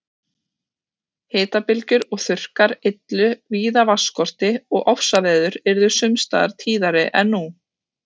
Hitabylgjur og þurrkar yllu víða vatnsskorti og ofsaveður yrðu sums staðar tíðari en nú.